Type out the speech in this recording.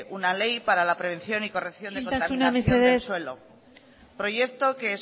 una ley para la prevención y corrección de contaminación isiltasuna mesedez del suelo proyecto que